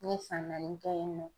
N ye san naani kɛ yen nɔ.